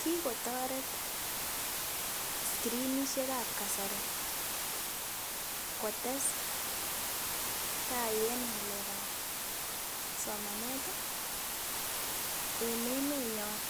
Kikotoret scrinishek ab kasari kotesetai en ng'alek ab somanet en emet nyon